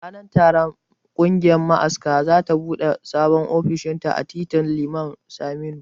Ranar taron kungiyar ma'askan za ta bude Sabon ofishinta a titin Liman Saminu